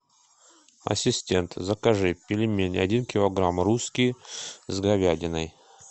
ассистент закажи пельмени один килограмм русские с говядиной